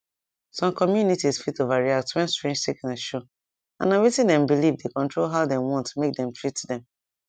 some communities fit overreact when strange sickness show and na wetin dem believe dey control how dem want dem want make dem treat dem